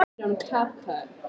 """Ha, hvað? sagði amma."""